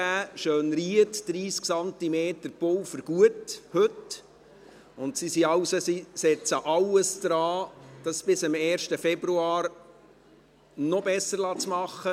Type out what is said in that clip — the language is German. Schönried, 30 Zentimeter, Pulver, gut, und sie setzen alles daran, dies bis zum 1. Februar 2020 noch besser zu machen.